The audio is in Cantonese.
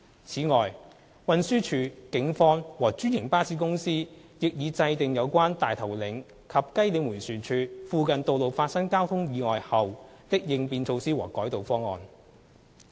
此外，運輸署、警方和專營巴士公司亦已制訂有關大頭嶺及雞嶺迴旋處附近道路發生交通意外後的應變措施和改道方案。